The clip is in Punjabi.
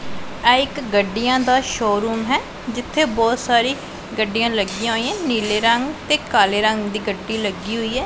ਆਹ ਇੱਕ ਗੱਡੀਆਂ ਦਾ ਸ਼ੋਰੂਮ ਹੈ ਜਿੱਥੇ ਬਹੁਤ ਸਾਰੀ ਗੱਡੀਆਂ ਲੱਗੀਆਂ ਹੋਈਆਂ ਨੀਲੇ ਰੰਗ ਤੇ ਕਾਲੇ ਰੰਗ ਦੀ ਗੱਡੀ ਲੱਗੀ ਹੋਈ ਏ।